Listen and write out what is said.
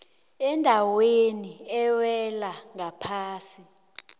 endaweni ewela ngaphasi